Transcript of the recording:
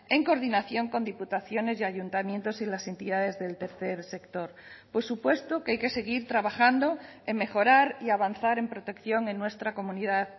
en coordinación con diputaciones y ayuntamientos y las entidades del tercer sector por supuesto que hay que seguir trabajando en mejorar y avanzar en protección en nuestra comunidad